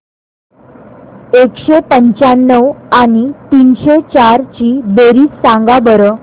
एकशे पंच्याण्णव आणि तीनशे चार ची बेरीज सांगा बरं